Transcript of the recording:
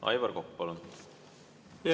Aivar Kokk, palun!